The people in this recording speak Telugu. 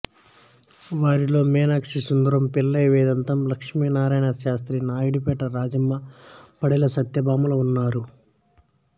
వారిలో మీనాక్షి సుందరం పిళ్ళై వేదాంతం లక్ష్మీనారాయణ శాస్త్రి నాయుడుపేట రాజమ్మ పెండెల సత్యభామలు ఉన్నారు